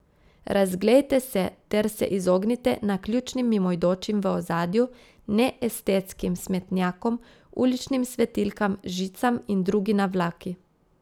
Razglejte se ter se izognite naključnim mimoidočim v ozadju, neestetskim smetnjakom, uličnim svetilkam, žicam in drugi navlaki.